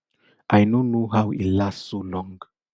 i no know how e last so long